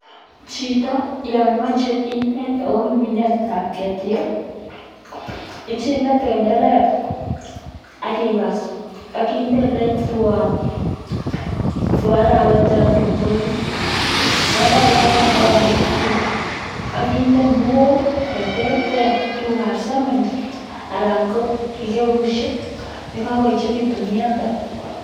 Chito yon moche inet akobo minetab ketik icheng'e tenderek ak kibas ak indee eletwon for arawet totun koruryo, yon koruryo en arawet akeng'e itutu ak kinde kinuok cheterter tukukab sementi alaan ko kikabushek yekokoechekitun ialde.